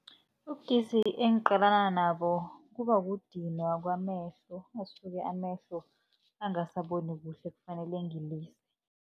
Ubudisi engiqalana nabo kuba kudinwa kwamehlo, asuke amehlo angasaboni kuhle kufanele ngilise.